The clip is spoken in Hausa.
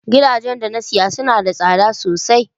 Gidajen da na saya suna da tsada sosai.